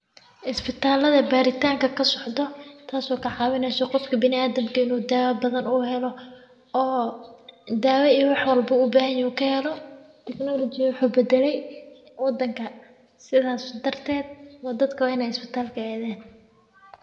Isbitaalada baaritaanka ka socda taasoo ka caawineyso qofka bini'aadamkii inuu daawo badan uu helo oo daawo iyo wax walba baahan yahay oo kay helo. Teknoolajiya wuxuu bedelay wadanka sidaas darteed oo dadka inay isbitaalka aadeen.